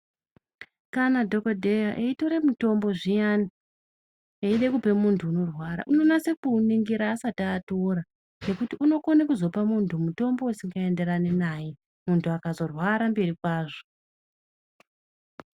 Kana dhokodheya eitore mitombo zviyani, eide kupe muntu unorwara, unonase kuuningira asati atora, ngekuti unokone kuzopa muntu mutombo usingaenderani naye, muntu akazorwara mberi kwazvo.